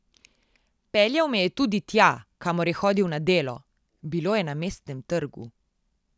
Peljal me je tudi tja, kamor je hodil na delo, bilo je na Mestnem trgu.